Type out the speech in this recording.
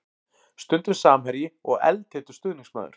Stundum samherji og eldheitur stuðningsmaður.